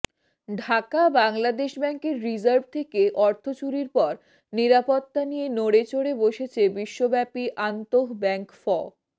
ঢাকাঃ বাংলাদেশ ব্যাংকের রিজার্ভ থেকে অর্থ চুরির পর নিরাপত্তা নিয়ে নড়েচড়ে বসেছে বিশ্বব্যাপী আন্তঃব্যাংক ফ